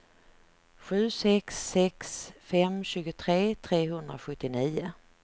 sju sex sex fem tjugotre trehundrasjuttionio